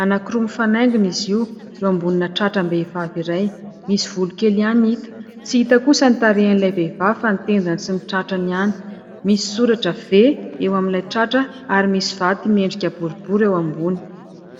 anankiroa mifanaingina izy io eo ambonina tratram-behivavy iray, misy volo kely ihany hita. Tsy hita kosa ny tarehan'ilay vehivavy fa ny tendany sy ny tratrany ihany misy soratra ''V'' eo amin'ilay tratra ary misy vato miendrika boribory eo ambony.